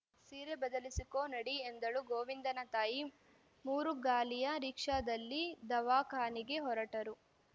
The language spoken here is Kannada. ಸೀರೆ ಬದಲಿಸಿಕೊ ನಡಿ ಎಂದಳು ಗೋವಿಂದನ ತಾಯಿ ಮೂರು ಗಾಲಿಯ ರೀಕ್ಷಾದಲ್ಲಿ ದವಾಖಾನಿಗೆ ಹೊರಟರು